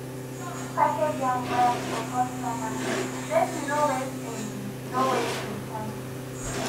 package am well for customer make you no waste im no waste im time